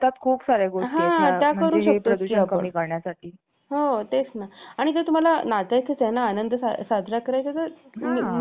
आणि जर तुम्हाला नाचायचंच आहे ना आनंद साजरा करायचा आहे तुम्ही medium आवाज ठेवा किंवा एक वेळेची मर्यादा ठेवा आहे ना